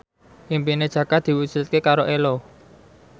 impine Jaka diwujudke karo Ello